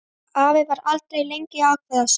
Afi var aldrei lengi að ákveða sig.